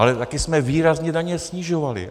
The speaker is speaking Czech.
Ale také jsme výrazně daně snižovali.